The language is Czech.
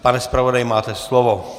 Pane zpravodaji, máte slovo.